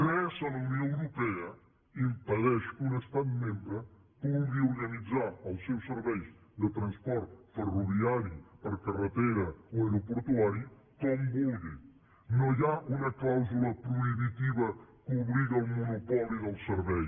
res a la unió europea impedeix que un estat membre vulgui organitzar els seus serveis de transport ferroviari per carretera o aeroportuari com vulgui no hi ha una clàusula prohibitiva que obligui al monopoli del servei